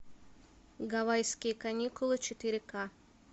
гавайские каникулы четыре к